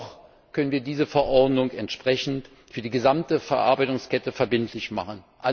Noch können wir diese Verordnung entsprechend für die gesamte Verarbeitungskette verbindlich machen.